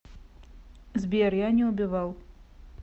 сбер я не убивал